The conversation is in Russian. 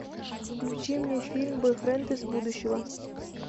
включи мне фильм бойфренд из будущего